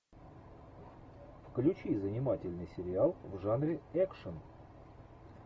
включи занимательный сериал в жанре экшн